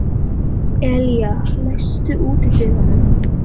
Elía, læstu útidyrunum.